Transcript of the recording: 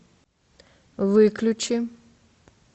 выключи